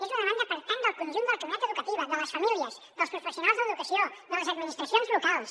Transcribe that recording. és una demanda per tant del conjunt de la comunitat educativa de les famílies dels professionals de l’educació de les administracions locals